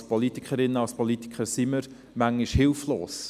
Als Politikerinnen, als Politiker sind wir manchmal hilflos.